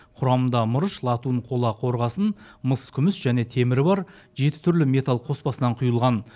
құрамында мырыш латунь қола қорғасын мыс күміс және темірі бар жеті түрлі металл қоспасынан құйылған